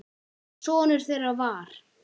Sonur þeirra var